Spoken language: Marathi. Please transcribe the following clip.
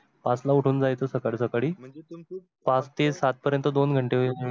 पाच ला उठून जायचं सकाडी सकाडी पाच ते सात पर्यत दोन घंटे होईल.